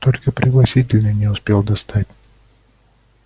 только пригласительные не успел достать